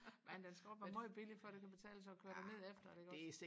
men den skal også være meget billig før det kan betale sig at køre derned efter den iggås